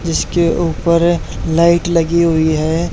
जिसके ऊपर लाइट लगी हुई हैं।